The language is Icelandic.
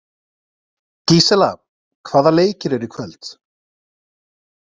Gísela, hvaða leikir eru í kvöld?